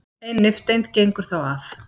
ein nifteind gengur þá af